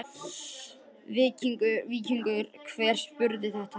Víkingur, hver syngur þetta lag?